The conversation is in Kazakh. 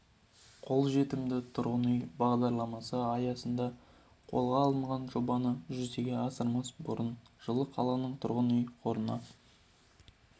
қолжетімді тұрғын үй бағдарламасы аясында қолға алынған жобаны жүзеге асырмас бұрын жылы қаланың тұрғын үй қорына